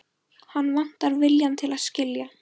Hann vantar viljann til að skilja.